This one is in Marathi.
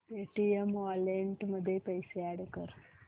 पेटीएम वॉलेट मध्ये पैसे अॅड कर